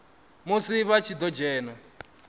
musi vha tshi ḓo dzhena